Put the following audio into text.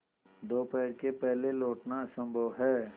दोपहर के पहले लौटना असंभव है